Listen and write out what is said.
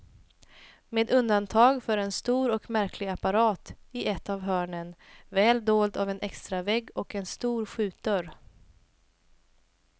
Med undantag för en stor och märklig apparat i ett av hörnen, väl dold av en extravägg och en stor skjutdörr.